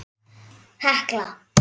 Dæmi: Hekla